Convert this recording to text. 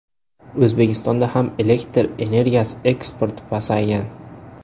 O‘zbekistonga ham elektr energiyasi eksporti pasaygan.